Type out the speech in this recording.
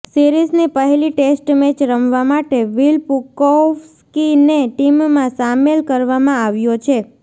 સિરીઝની પહેલી test match રમવા માટે વિલ પુકોવ્સ્કીને ટીમમાં શામેલ કરવામાં આવ્યો છે